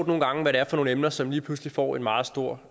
nogle gange er for nogle emner som lige pludselig får en meget stor